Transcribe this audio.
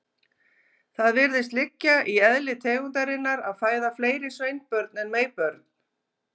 Það virðist liggja í eðli tegundarinnar að fæða fleiri sveinbörn en meybörn.